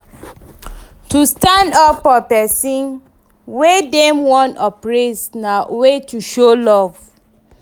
To stand up for persin wey dem won oppress na way to show love